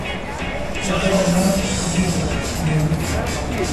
Waddada maanta ugu yar gaadiidka